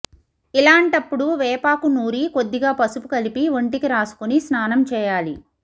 ఇలాంటప్పుడు వేపాకు నూరి కొద్దిగా పసుపు కలిపి ఒంటికి రాసుకుని స్నానం చేయాలి